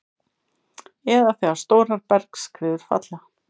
eða þegar stórar bergskriður falla.